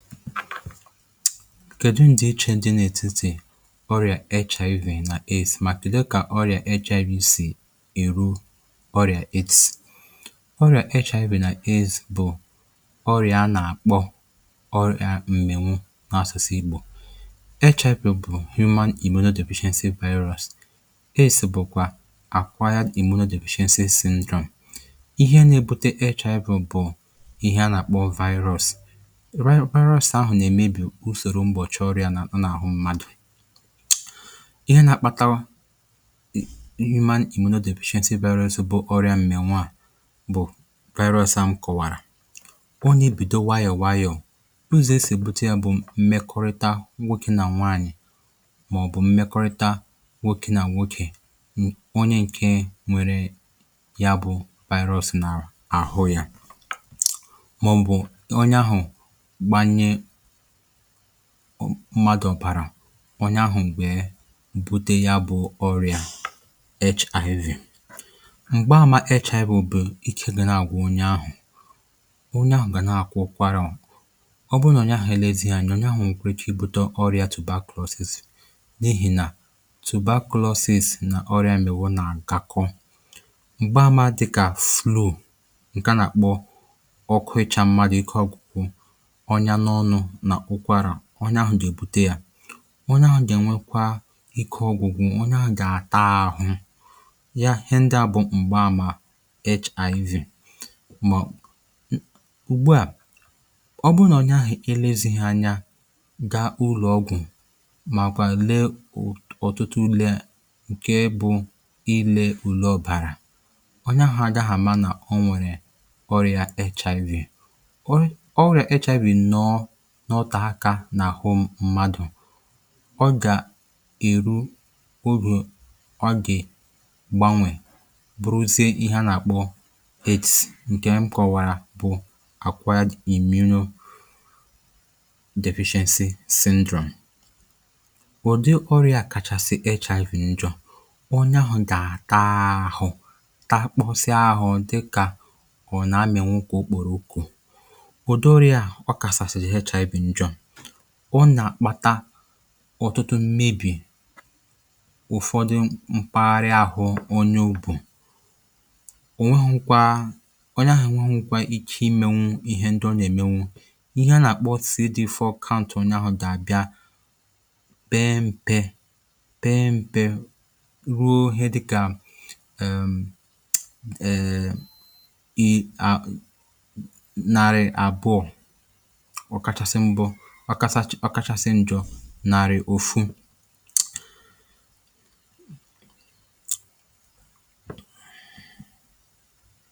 kedù ndị ichè ndị n’ètitì ọrị̀à echà evè nà isì? mà kedù kà ọrị̀à echà evè isì ìru ọrị̀à ezì? ọrị̀à echà evè nà isì bù ọrị̀à a nà-àkpọ ọrị̀à m̀mènwu n’asụsụ igbo. echà evè bù humana ìmenu dị̀ percenti virus, esì bùkwa akwa imunu dị̀ percenti syndrom. ihe na-ebute echà evè bù ihe a nà-àkpọ virus. usòrò mgbọ̀chị ọrịȧ n’àhụ mmadụ̀, ihe na-akpatawa ịma ị̀mụ̀nọ dị, èpèchàsị vaịrọsị, bụ ọrịa mmẹ̀nwà, bụ̀ virus m kọ̀wàrà. ọ n’ebìdò wayọ̀ wayọ̀. ụzọ̀ esì èbute yȧ bụ̀ mmekọrịta nwokė na nwaanyị̀, màọ̀bụ̀ mmekọrịta nwokė na nwokė. onye ǹke nwere ya bụ̇ virus nà àhụ yȧ mmadụ̀, bàrà ọnyà ahụ̀ m̀gbè bute ya bụ̀ ọrịà HIV. m̀gba àmà HIV bụ̀ ikė gị̇ nààgwụ̀ onye ahụ̀. onye ahụ̀ gà na-àkwọkwara, ọ bụ nà onye ahụ̀ èlezi yȧ. onye ahụ̀ ǹkụ̀rị̀ kà ibute ọrịà tubakulosis, n’ihì nà tubakulosis nà ọrịà èmewó nà ǹkàkọ. m̀gbaàmà dịkà flour ǹkà, nà-àkpọ ọkụị̇cha mmadụ̀, ike ọgwụ̀kwụ̀ onye ahụ̀. dị̀ èbute yȧ, onye ahụ̀ gà-ènwekwa ike ọgwụ̀gwụ̀, onye ahụ̀ gà-àta ahụ ya. ihe ndịà bụ̀ m̀gba àmà HIV. mà ụ̀gbụ̇ à, ọ bụrụ nà onye ahụ̀ ilėzighi anya, ga-ụlọ̀ ọgwụ̀, màkwà lee ụ̀tụtụ ulė, ǹkè bụ̇ ilė ụ̀lọ̀ bàrà onye ahụ̀ agaghị àma nà onwèrè ọrịà HIV. ọrịà HIV nọọ n’ọtà akȧ nà hụ mmadụ̀, ọ gà ìru urù, ọ gè gbanwè buruzie ihẹ nà àkpọ 8 ǹkẹ̀. m kọ̀wàrà bụ̀ àkwà ya, imi urùdevichensị sindrone. ụ̀dị ọrịà kàchàsị echà ifù njọ̀, ọ nya hụ̀ gà àta ahụ̀, ta kpọsịa ahụ̀, dịkà ọ nà amịànwụkwà okporo oku̇. ọ nà-àkpàta ọ̀tụtụ mmebì ụ̀fọdụ m̀paghara ahụ̀. onye ugbù ò nweghu̇ kwà, onye ahụ̀ nweghu̇ kwà ike imėwu ihe ndị ọ nà-èmenwu, ihe a nà-àkpọ tìrí dịfọ counter. onye ahụ̀ dàbịa be mpe be mpe, ruo ihe dịkà èè ị ànarị àbụọ nàrị̀ ofu.